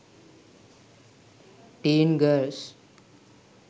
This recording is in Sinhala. teen girls